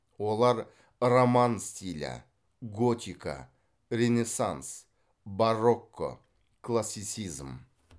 олар роман стилі готика ренессанс барокко классицизм